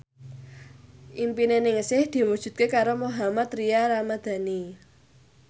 impine Ningsih diwujudke karo Mohammad Tria Ramadhani